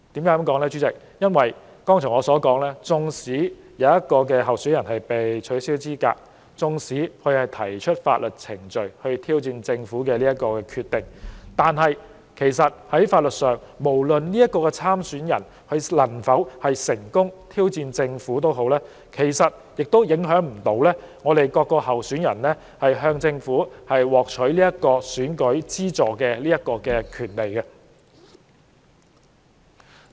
我剛才提到，儘管有候選人被取消資格、並就此透過法律程序挑戰政府的決定，但在法律上，不論這名候選人能否成功挑戰政府，其實也不影響其他候選人從政府獲取選舉資助的權利。